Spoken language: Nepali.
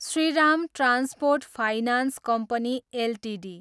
Shriram transport finance company Ltd